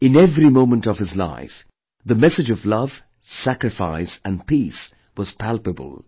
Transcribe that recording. In every moment of his life, the message of love, sacrifice & peace was palpable